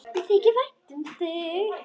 Mér þykir vænt um þig.